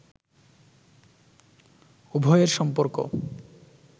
উভয়ের সম্পর্ক